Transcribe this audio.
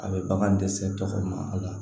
A bɛ bagan dɛsɛ tɔgɔ ma a la